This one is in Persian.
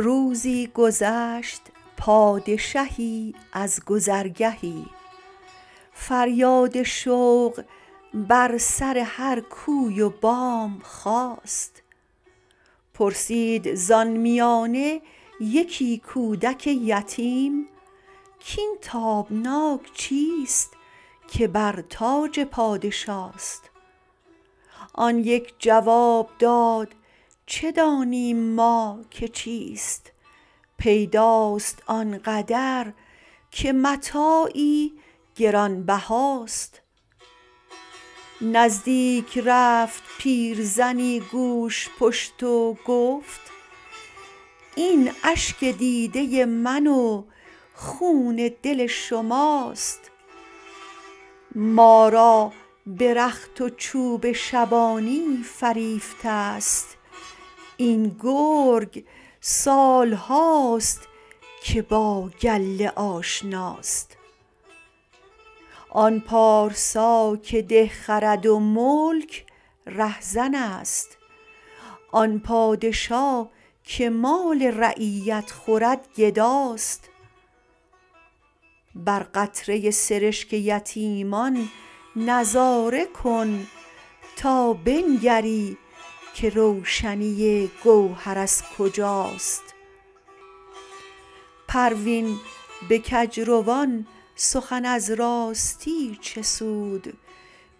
روزی گذشت پادشهی از گذرگهی فریاد شوق بر سر هر کوی و بام خاست پرسید زان میانه یکی کودک یتیم کاین تابناک چیست که بر تاج پادشاست آن یک جواب داد چه دانیم ما که چیست پیداست آنقدر که متاعی گرانبهاست نزدیک رفت پیرزنی گوژپشت و گفت این اشک دیده من و خون دل شماست ما را به رخت و چوب شبانی فریفته است این گرگ سال هاست که با گله آشناست آن پارسا که ده خرد و ملک رهزن است آن پادشا که مال رعیت خورد گداست بر قطره سرشک یتیمان نظاره کن تا بنگری که روشنی گوهر از کجاست پروین به کجروان سخن از راستی چه سود